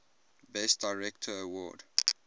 best director award